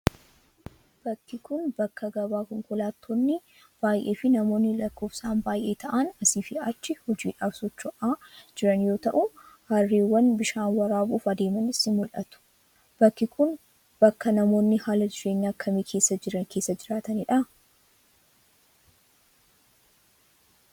Bakki kun, bakka gabaa konkolaattonni baay'een fi namoonni lakkoofsaan baay'ee ta'an asii fi achi hojiidhaaf socho'aa jiran yoo ta'u, harreewwan bishaan waraabuuf adeemanis ni mul'atu. Bakki kun, bakka namoonni haala jireenya akkamii keessa jiran keessa jiraatanii dha?